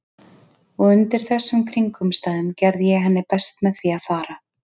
Og undir þessum kringumstæðum gerði ég henni best með því að fara.